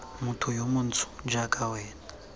motho yo montsho jaaka wena